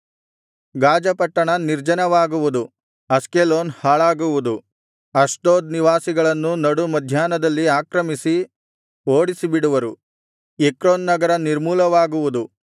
ಗಾಜ ಪಟ್ಟಣ ನಿರ್ಜನವಾಗುವುದು ಅಷ್ಕೆಲೋನ್ ಹಾಳಾಗುವುದು ಅಷ್ಡೋದ್ ನಿವಾಸಿಗಳನ್ನು ನಡು ಮಧ್ಯಾಹ್ನದಲ್ಲಿ ಆಕ್ರಮಿಸಿ ಓಡಿಸಿಬಿಡುವರು ಎಕ್ರೋನ್ ನಗರ ನಿರ್ಮೂಲವಾಗುವುದು